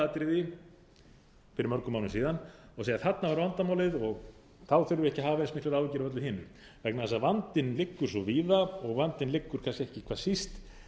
atriði fyrir mörgum árum síðan og segja þarna var vandamálið og þá þurfi ekki að hafa eins miklar áhyggjur af öllu hinu vegna þess að vandinn liggur svo víða og vandinn liggur kannski ekki hvað síst